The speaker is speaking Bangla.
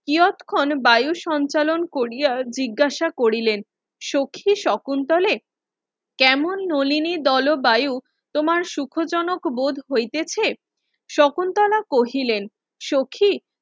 নিয়তখন বায়ু সঞ্চালন কোরিয়া জিজ্ঞাসা করিলেন সখি শকুন্তলে কেমন নলিনী দলবায়ু তোমার সুখজনক বোধ হইতেছে শকুন্তলা কহিলেন সখি